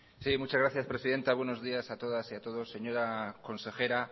sí muchas gracias presidenta buenos días a todas y a todos señora consejera